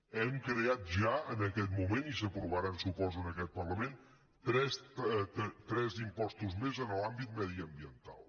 hem creat ja en aquest moment i s’aprovaran suposo en aquest parlament tres impostos més en l’àmbit mediambiental